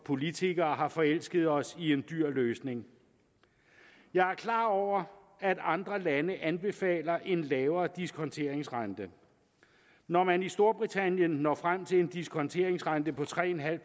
politikere har forelsket os i en dyr løsning jeg er klar over at andre lande anbefaler en lavere diskonteringsrente når man i storbritannien når frem til en diskonteringsrente på tre en halv